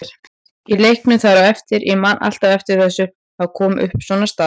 Í leiknum þar á eftir, ég man alltaf eftir þessu, þá kom upp svona staða.